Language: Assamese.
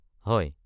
হয়।